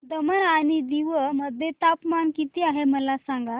दमण आणि दीव मध्ये तापमान किती आहे मला सांगा